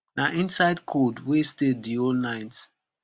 na inside cold wey stay di whole night